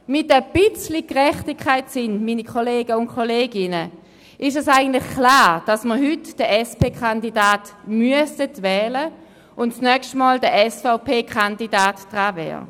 Mit ein bisschen Gerechtigkeitssinn, meine Kolleginnen und Kollegen, ist es eigentlich klar, dass wir heute den SP-Kandidaten wählen müssen, und das nächste Mal wäre der SVP-Kandidat dran.